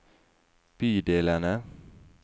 bydelene